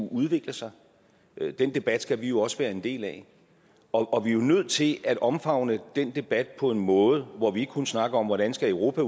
udvikle sig og den debat skal vi jo også være en del af og vi er nødt til at omfavne den debat på en måde hvor vi ikke kun snakker om hvordan europa